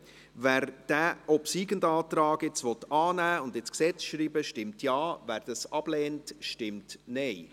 Wer diesen obsiegenden Antrag annehmen und ins Gesetz schreiben will, stimmt Ja, wer dies ablehnt, stimmt Nein.